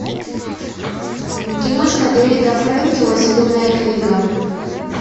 киношка дэвида фрэнкела зеленая книга